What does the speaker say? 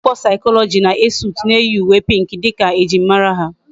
Umuakwukwo psychology na Esut na eyi uwe pink dika ejim mara ha